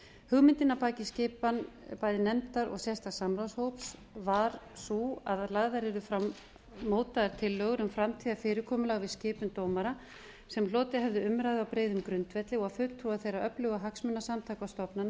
hugmyndin að baki skipan bæði nefndar og sérstaks samráðshóps var sú að lagðar yrðu fram mótaðar tillögur um framtíðarfyrirkomulag við skipun dómara sem hlotið hefðu umræðu á breiðum grundvelli og fulltrúar þeirra öflugu hagsmunasamtaka og stofnana